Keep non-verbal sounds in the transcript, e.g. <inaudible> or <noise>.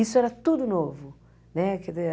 Isso era tudo novo, né? <unintelligible>